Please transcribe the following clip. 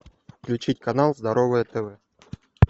включить канал здоровое тв